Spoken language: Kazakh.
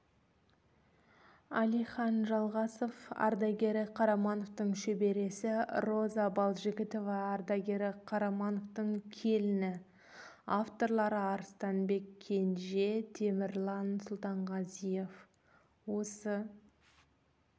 әлихан жалғасов ардагері қарамановтың шөбересі роза балжігітова ардагері қарамановтың келіні авторлары арыстанбек кенже темірлан сұлтанғазиев осы